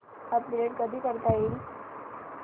update कधी करता येईल